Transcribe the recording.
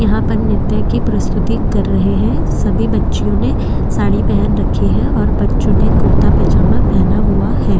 यहाँ पर नृत्य की प्रस्तुति कर रहे है सभी बच्चीवो ने साड़ी पेहन रखी है और बच्चों ने कुरता पजामा पेहना हुआ है।